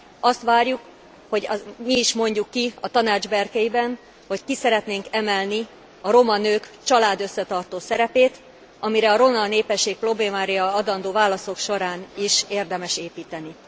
Azt várjuk, hogy mi is mondjuk ki a Tanács berkeiben, hogy ki szeretnénk emelni a roma nők családösszetartó szerepét, amire a roma népesség problémáira adandó válaszok során is érdemes építeni.